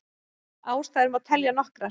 Ástæður má telja nokkrar.